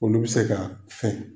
Olu bi se ka fɛn .